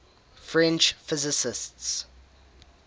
french physicists